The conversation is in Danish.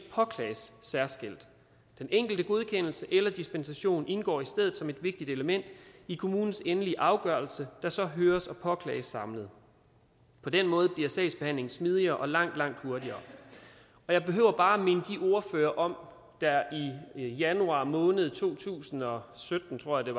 påklages særskilt den enkelte godkendelse eller dispensation indgår i stedet som et vigtigt element i kommunens endelige afgørelse der så høres og påklages samlet på den måde bliver sagsbehandlingen smidigere og langt langt hurtigere og jeg behøver bare at minde ordførerne om januar måned i to tusind og sytten tror jeg